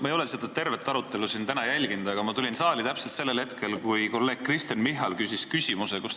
Ma ei ole tervet arutelu siin täna jälginud, aga ma tulin saali täpselt sellel hetkel, kui kolleeg Kristen Michal küsis.